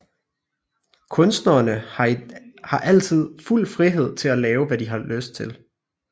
Kunstnerne har altid fuld frihed til at lave hvad de har lyst til